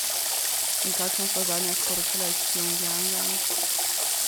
In kakšna so zadnja sporočila iz Pjongjanga?